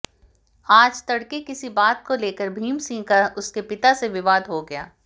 आज तड़के किसी बात को लेकर भीम सिंह का उसके पिता से विवाद हो गया